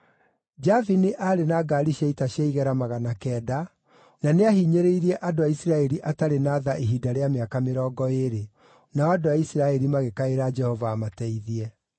Jabini aarĩ na ngaari cia ita cia igera magana kenda, na nĩahinyĩrĩirie andũ a Isiraeli atarĩ na tha ihinda rĩa mĩaka mĩrongo ĩĩrĩ, nao andũ a Isiraeli magĩkaĩra Jehova amateithie.